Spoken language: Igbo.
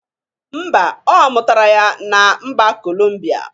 Mba ọ mụtara ya na mba Columbia